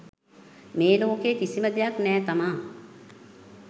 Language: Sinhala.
මේ ලෝකේ කිසිම දෙයක් නෑ තමා